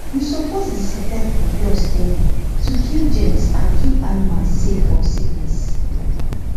you suppose disinfect the floor steady to kill germs and keep animals safe from sickness